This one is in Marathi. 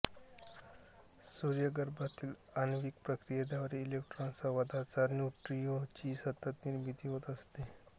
सूर्यगर्भातील आण्विक प्रक्रियांद्वारे इलेक्ट्रॉन स्वादाच्या न्युट्रिनोंची सतत निर्मिती होत असते